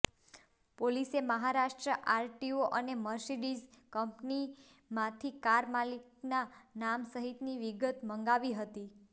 પોલીસે મહારાષ્ટ્ર આરટીઓ અને મર્સિડીઝ કંપનીમાંથી કાર માલિકના નામ સહિતની વિગતો મંગાવી હતી